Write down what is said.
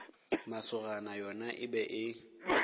masogana yona e be e